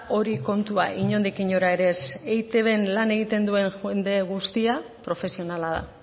hori kontua inondik inora ere ez eitbn lan egiten duen jende guztia profesionala da